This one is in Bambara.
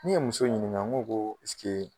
Ni ye muso ɲiniŋa ŋo koo skee